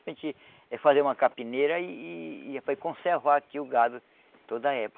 A gente é fazer uma capineira e foi conservar aqui o gado toda época.